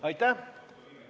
Aitäh!